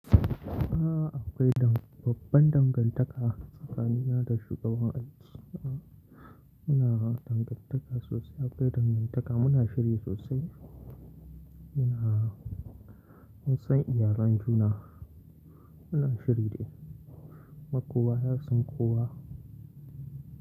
Akwai dan-- babban dangantaka tsakanina da shugaban aiki. Muna dangantaka sosai, akwai dangantaka muna shiri sosai. Muna, mun san iyalan juna, muna shiri dai, kuma kowa, yasan kowa.